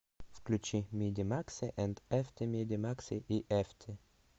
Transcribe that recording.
включи миди макси энд эфти миди макси и эфти